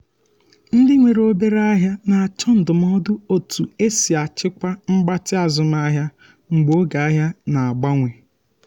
ndị nwere obere ahịa na-achọ ndụmọdụ otú e si achịkwa mgbatị azụmahịa mgbe oge ahia na-agbanwe.